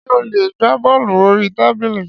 Ṣé ó lè gbá bọ́ọ̀lù orí tábìlì?